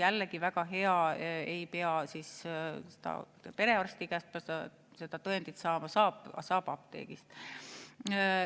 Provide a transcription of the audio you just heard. Jällegi, väga hea, ei pea perearsti käest seda tõendit saama, saab apteegist.